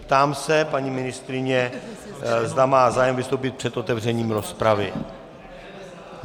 Ptám se paní ministryně, zda má zájem vystoupit před otevřením rozpravy.